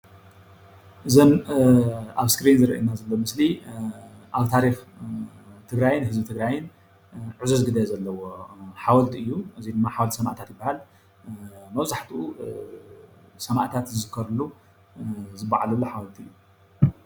እዚ ኣብ እስክሪን ዝረአየና ዘሎ ምስሊ ኣብ ታሪክ ትግራይን ህዝቢ ትግራይን ዕዙዝ ግደ ዘለዎ ሓወልቲ እዩ፣ እዙይ ድማ ሓወልቲ ሰማእታት ይባሃል፣ መብዛሕትኡ ሰማእታት ዝዝከርሉ ዝበዓለሉ ሓወልቲ እዩ፡፡